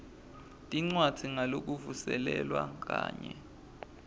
tincwadzi ngalokuvuselelwa kanye